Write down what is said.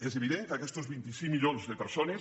és evident que aquests vint cinc milions de persones